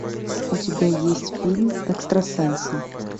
у тебя есть фильм экстрасенсы